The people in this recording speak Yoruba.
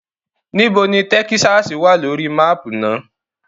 Nibo ni Tẹkisasi wa lori maapu naa?